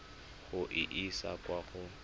go e isa kwa go